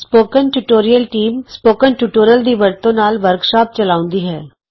spoken tutorial team spoken tutorial ਦੀ ਵਰਤੋਂ ਨਾਲ ਵਰਕਸ਼ਾਪ ਚਲਾਉਂਦੀ ਹੈ